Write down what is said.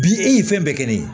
Bi e ye fɛn bɛɛ kɛ ne ye